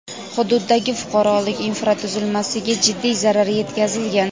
hududdagi fuqarolik infratuzilmasiga jiddiy zarar yetkazilgan.